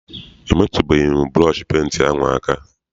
Emetụbeghi m burọshi penti ahụ aka.